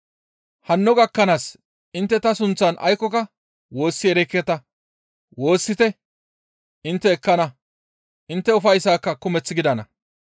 Hanno gakkanaas intte ta sunththan aykkoka woossi erekketa; woossite intte ekkana; intte ufayssayka kumeth gidana.